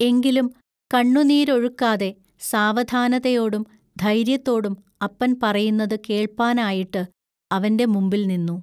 എങ്കിലും കണ്ണുനീരൊഴുക്കാതെ സാവധാനതയോടും ധൈൎയ്യത്തോടും അപ്പൻ പറയുന്നത് കേൾപ്പാനായിട്ട് അവൻ്റെ മുമ്പിൽനിന്നു.